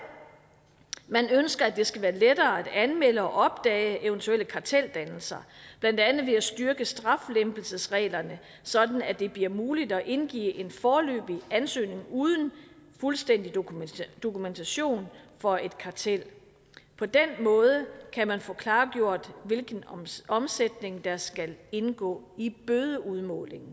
ønsker man at det skal være lettere at anmelde og opdage eventuelle karteldannelser blandt andet ved at styrke straflempelsesreglerne sådan at det bliver muligt at indgive en foreløbig ansøgning uden fuldstændig dokumentation dokumentation for et kartel på den måde kan man få klargjort hvilken omsætning der skal indgå i bødeudmålingen